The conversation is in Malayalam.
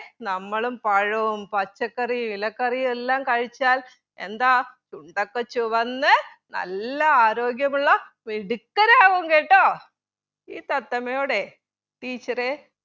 നമ്മളും പഴവും പച്ചക്കറിയും ഇലക്കറിയുമെല്ലാം കഴിച്ചാൽ എന്താ ചുണ്ടൊക്കെ ചുവന്ന് നല്ല ആരോഗ്യമുള്ള മിടുക്കരാവും കേട്ടോ ഈ തത്തമ്മയോട് teacher എ